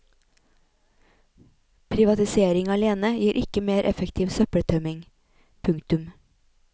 Privatisering alene gir ikke mer effektiv søppeltømming. punktum